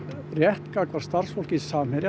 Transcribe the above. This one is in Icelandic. rétta gagnvart starfsfólki Samherja